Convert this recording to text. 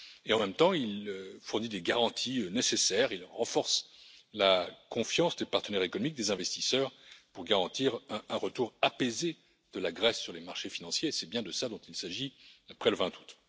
En même temps, il fournit les garanties nécessaires et renforce la confiance des partenaires économiques des investisseurs pour garantir un retour apaisé de la Grèce sur les marchés financiers. C'est bien de cela dont il s'agit après le 20 août.